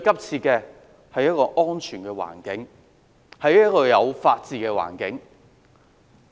是一個安全的環境，是一個有法治的環境。